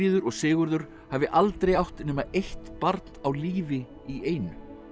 og Sigurður hafi aldrei átt nema eitt barn á lífi í einu